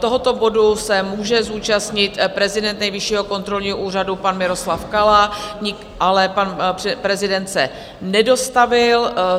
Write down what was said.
Tohoto bodu se může zúčastnit prezident Nejvyššího kontrolního úřadu, pan Miloslav Kala, ale pan prezident se nedostavil.